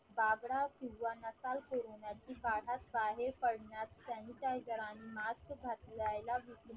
नकल कोरोनाची बाहेर पडण्यात sanitizer आणि mask घालायला विसरू